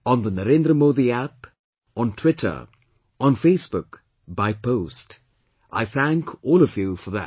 On the NarendraModiApp, on Twitter, on Facebook, by post I thank all of you for that